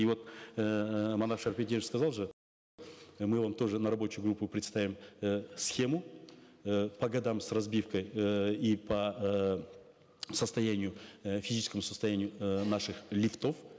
и вот эээ манап шарипеденович сказал же мы вам тоже на рабочую группу представим э схему э по годам с разбивкой эээ и по э состоянию э физическому состоянию э наших лифтов